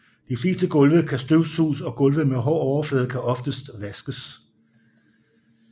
De fleste gulve kan støvsuges og gulve med hård overflade kan oftest vaskes